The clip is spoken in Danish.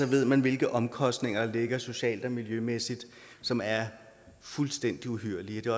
ved man hvilke omkostninger der ligger socialt og miljømæssigt som er fuldstændig uhyrlige det